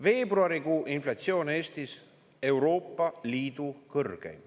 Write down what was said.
Veebruarikuu inflatsioon Eestis: Euroopa Liidu kõrgeim.